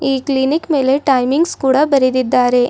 ಈ ಕ್ಲಿನಿಕ್ ಮೇಲೆ ಟೈಮಿಂಗ್ಸ್ ಕೂಡ ಬರೆದಿದ್ದಾರೆ.